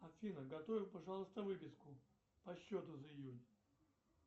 афина готовь пожалуйста выписку по счету за июнь